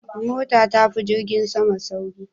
Mota tafi jirgin sama sauri